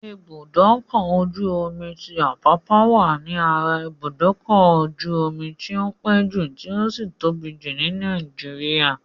Ibùdókọ̀-ojú-omi ti Àpápá wà ní ara ibùdókọ́-jú-ọmi tí o pé jù tí ó sì tóbi jù ní Nàìgéríà.